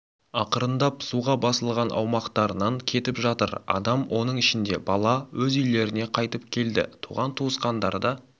ақырындап суға басылған аумақтарынан кетіп жатыр адам оның ішінде бала өз үйлеріне қайтып келді туған-туысқандарда